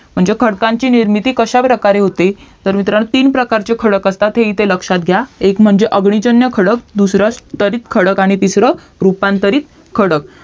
म्हणजे खडकांची निर्मिती कश्या प्रकारे होते तर मित्रांनो तीन प्रकारचे खडक असतात हे इथे लक्ष्यात घ्या एक म्हणजे अग्निजन्य खडक दूसरा तरखडक आणि तिसरा रूपांतरित खडक